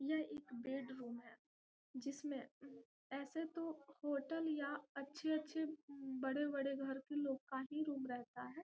यह एक bedroom है जिसमें ऐसे तो होटल या अच्छे-अच्छे बड़े-बड़े घर के लोग का ही रूम रहता है।